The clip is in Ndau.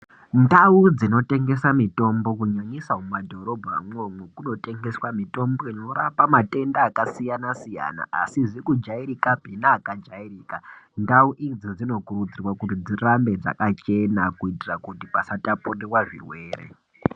Ndau dzinotengesa mitombo , kunyanyisa mumadhorobhamwo, munotengeswa mitombo inorapa matenda akasiyana-siyana, asizi kujairikapi neakajairika .Ndau idzi dzinokurudzirwa kuti dzirambe dzakachena, kuita kuti pasataputwa zvirwere.